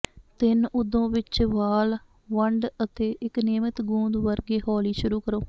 ਤਿੰਨ ਓਦੋ ਵਿੱਚ ਵਾਲ ਵੰਡ ਅਤੇ ਇੱਕ ਨਿਯਮਤ ਗੁੰਦ ਵਰਗੇ ਹੌਲੀ ਸ਼ੁਰੂ ਕਰੋ